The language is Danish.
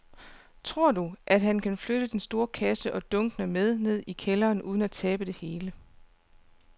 Tror du, at han kan flytte den store kasse og dunkene med vand ned i kælderen uden at tabe det hele?